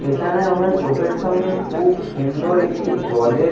এইখানে আমরা চোখের সামনে খুব সুন্দর একটি জলের--